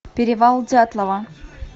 перевал дятлова